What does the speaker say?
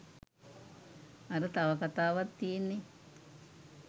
අර තව කතාවක් තියෙන්නේ